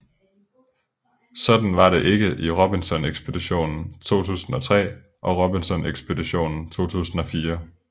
Sådan var det ikke i Robinson Ekspeditionen 2003 og Robinson Ekspeditionen 2004